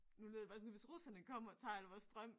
Nu lyder det bare sådan hvis russerne kommer og tager al vores strøm